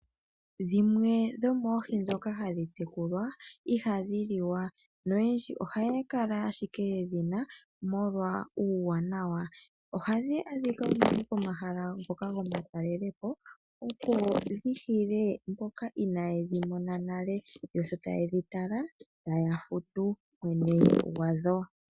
Dhimwe dhomoohi dhoka hadhi tekulwa ihadhi liwa noyendji ohaya kala ashike yedhina molwa uuwanawa ohadhi adhika unene pomahala ngoka gomatalelepo opo dhihile mboka inayedhi mona nale yo shota yedhi tala taya futu.